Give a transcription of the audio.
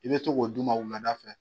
I bɛ to k'o d'u ma wulada fɛ.